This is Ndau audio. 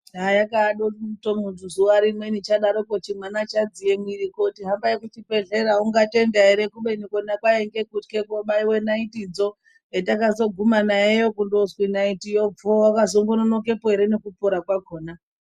Ah! yakaya domutomu zuwarimweni chadaroko chimwana chadziye mwiri kooti hambai kuchibhedhlera ungatenda ere kubeni kona kwainge kutye koobaiwe naiti dzo, petakazogume naye kutozwi naitiyo pfoo waka zononokepo ere nekupora kwakhona.